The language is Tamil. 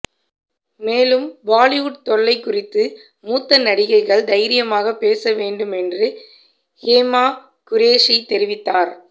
மேலும் பாலிவுட் தொல்லை குறித்து மூத்த நடிகைகள் தைரியமாக பேச வேண்டும் என்று ஹூமா குரேஷி தெரிவித்தார்